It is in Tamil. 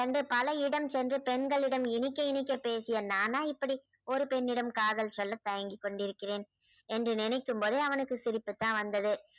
பல இடம் சென்று பெண்களிடம் இனிக்க இனிக்க பேசிய நானா இப்படி ஒரு பெண்ணிடம் காதல் சொல்ல தயங்கி கொண்டிருக்கிறேன் என்று நினைக்கும் போதே அவனுக்கு சிரிப்பு தான் வந்தது